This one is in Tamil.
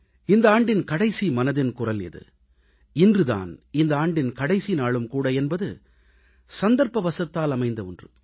இந்த ஆண்டின் கடைசி மனதின் குரல் இது இன்று தான் இந்த ஆண்டின் கடைசி நாளும் கூட என்பது சந்தர்ப்பவசத்தால் அமைந்த ஒன்று